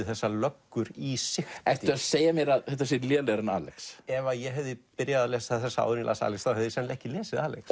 þessar löggur í sigti ertu að segja mér að þetta sé lélegra en Alex ef ég hefði lesið þessa áður en ég las Alex hefði ég sennilega ekki lesið Alex